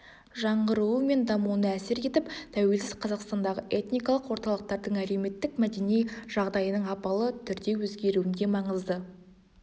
жаңғыруы мен дамуына әсер етіп тәуелсіз қазақстандағы этникалық орталықтардың әлеуметтік-мәдени жағдайының апалы түрде өзгеруінде маңызды